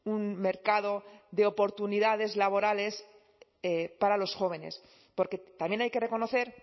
un mercado de oportunidades laborales para los jóvenes porque también hay que reconocer